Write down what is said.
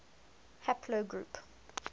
haplogroup